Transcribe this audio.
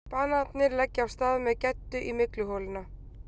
Bananarnir leggja af stað með Geddu í mygluholuna.